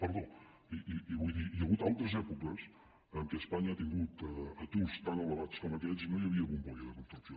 perdó i vull dir hi ha hagut altres èpoques en què espanya ha tingut aturs tan elevats com aquests i no hi havia bombolla de construcció